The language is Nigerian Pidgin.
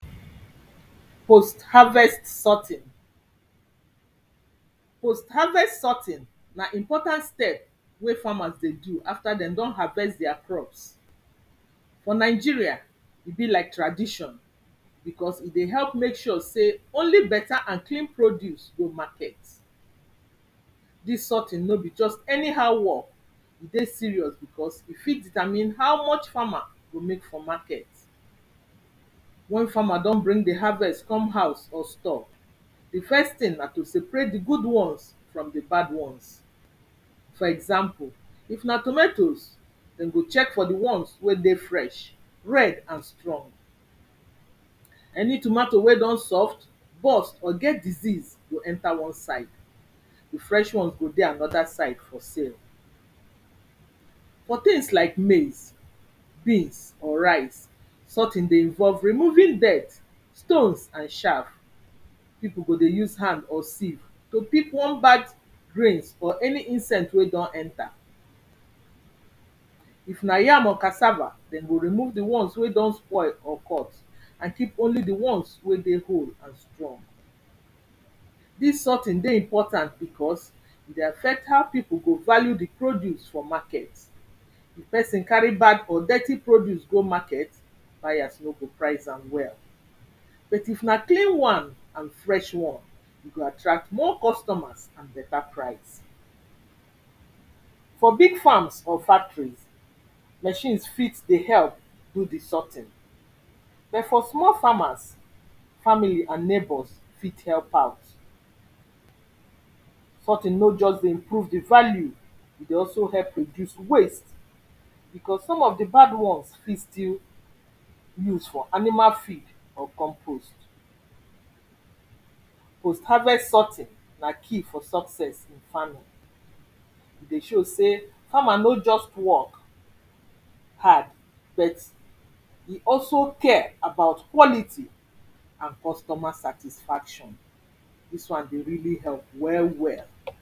post harvest sorting post harvest sorting na important step wey farmers dey do after dem don harvest their crops for nigeria e be like tradition because e dey help make sure sey only better and clean produce go market this sorting nor be just anyhow work e dey serious because e fit determine how much farmer go make for market wen farmer don bring the harvest come house or stor the first thing na to seperate the good ones from the bad ones for example if na tomatoes dem go check for the ones wey dey fresh, red and strong any tomatoe wen don soft burst or get disease go enter one side the fresh one go dey another side for sale for things like maize beans or rice something dey involve removing dirt stones and shaft people go dey use hand or sieve to pick one bad grains or any insect wey done enter if na yam or cassava, dem go remove the one wey don spoil or cut and keep only the ones wey dey whole this sorting dey important because e dey affect how people go value the produce for market if person carry bad or dirty produce go market buyers nor go prize am well but if na clean one and fresh one e go attract more customers and better prize for big farms or factories machines fit dey help do the something but for small farmers family and neighbours fit help out sorting nor just dey improve the value e dey also help reduce waste because some of the bad ones fit still use for animal feed or compose post harvest sorting na key for success in farming e dey show sey farmers no just work hard but he also care about quality and customer satisfaction this one dey really hep well well